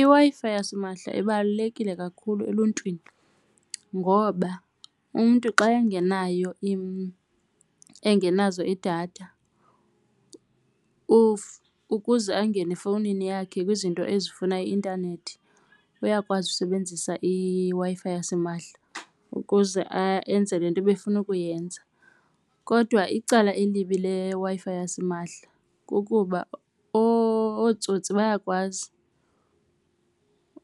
IWi-Fi yasimahla ibalulekile kakhulu eluntwini ngoba umntu xa engenazo iidatha ukuze angene efowunini yakhe kwizinto ezifana i-intanethi uyakwazi usebenzisa iWi-Fi yasimahla ukuze enze le nto ebefuna ukuyenza. Kodwa icala elibi leWi-Fi yasimahla kukuba ootsotsi bayakwazi